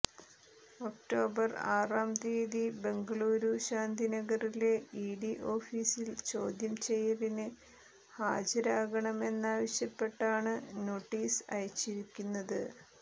October ആറാം തീയതി ബംഗളൂരു ശാന്തിനഗറിലെ ഇഡി ഓഫീസിൽ ചോദ്യം ചെയ്യലിന് ഹാജരാകണമെന്നാവശ്യപ്പെട്ടാണ് നോട്ടീസ് അയച്ചിരിക്കുന്നത്